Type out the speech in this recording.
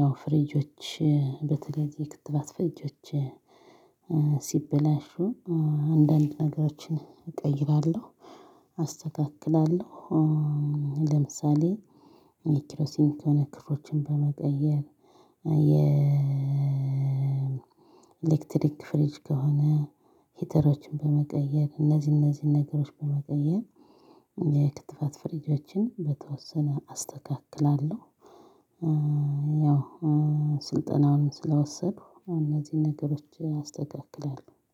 ያው ፍሪጆች በተለይ የክትባት ፍሪጆች ሲበላሹ አንዳንድ ነገሮችን እቀይራለሁ፣ አስተካክላለሁ። ለምሳሌ የኪሮሲንግ ከሆነ ክሮችን በመቀየር፣ የኤሌክትሪክ ፍሪጅ ከሆነ ሂተሮችን በመቀየር፣ እነዚህ እነዚህ ነገሮች በመቀየር የክትባት ፍሪጆችን በተወሰነ አስተካክላለሁ። ያው ስልጠናዉን ስለወሰድኩ እነዚህን ነገሮች አስተካክላለሁ።